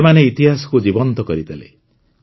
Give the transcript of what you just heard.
ସେମାନେ ଇତିହାସକୁ ଜୀବନ୍ତ କରିଦେଲେ